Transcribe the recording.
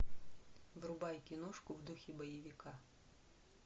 врубай киношку в духе боевика